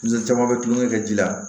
caman bɛ tulonkɛ kɛ ji la